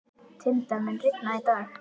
Tindar, mun rigna í dag?